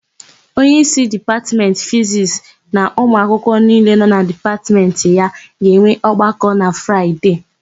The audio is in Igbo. Onyeísí Dipatmentị Fizisti na ụmụakwụkwọ niile nọ na Dipatmentị ya ga-enwe ọgbakọ na Fraịde.